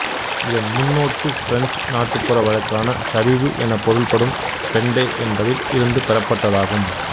இதன் முன்னோட்டு பிரெஞ்சு நாட்டுப்புற வழக்கான சரிவு எனப் பொருள்படும் பெண்டெ என்பதில் இருந்து பெறப்பட்டதாகும்